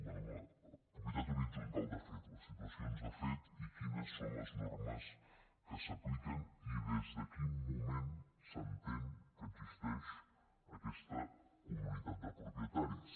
bé la propietat horitzontal de fet les situacions de fet i quines són les normes que s’apliquen i des de quin moment s’entén que existeix aquesta comunitat de propietaris